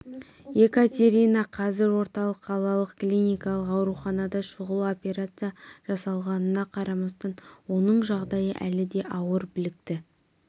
екатерина қазір орталық қалалық клиникалық ауруханада шұғыл операция жасалғанына қарамастан оның жағдайы әлі де ауыр білікті